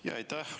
Aitäh!